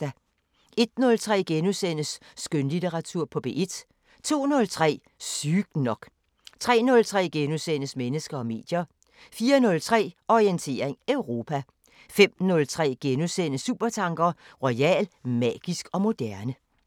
01:03: Skønlitteratur på P1 * 02:03: Sygt nok 03:03: Mennesker og medier * 04:03: Orientering Europa 05:03: Supertanker: Royal; magisk og moderne *